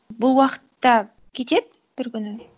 бұл уақыт та кетеді бір күні